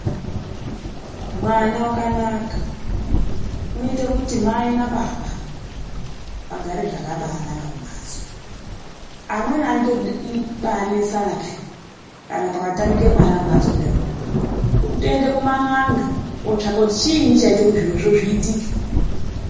Mwana, wakanaka unoita kuti mai nababa vagare zvakabaanaka mumhatso. Amweni anotobaanesana pheya, kana pakatamike mwana mumhatso kudai. Zvekutoende kuman'anga kotsvake kuti chiini chaite kuti zvirozvo zviitike.